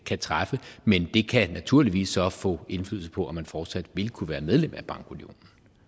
kan træffe men det kan naturligvis så få indflydelse på om man fortsat vil kunne være medlem af bankunionen